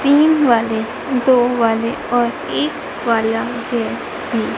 तीन वाले दो वाले और एक वाला गैस ली--